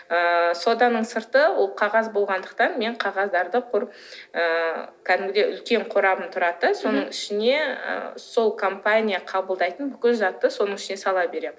ыыы соданың сырты ол қағаз болғандықтан мен қағаздарды құр ыыы кәдімгідей үлкен қорабым тұрады да соның ішіне і сол компания қабылдайтын бүкіл затты соның ішіне сала беремін